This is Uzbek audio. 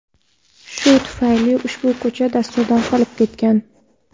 Shu tufayli ushbu ko‘cha dasturdan qolib ketgan.